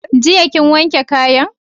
Jiya kin wanke kayan?